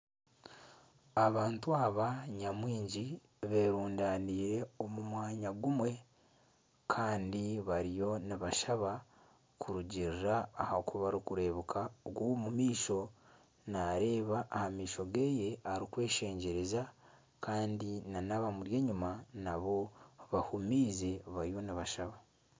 Abantu aba nyamwingi beerundanire omu mwanya gumwe kandi bariyo nibashaba kurungirira aha ku barikureebeka ogu ow'omumaisho naareeba aha maisho ge arikweshengyereza kandi abamuri enyima bahumiize bariyo nibashaba